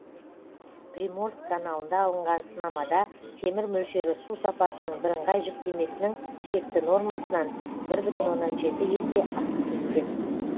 приморск каналында алынған сынамада темір мөлшері су сапасының бірыңғай жіктемесінің шекті нормасынан бір бүтін оннан жеті есе асып кеткен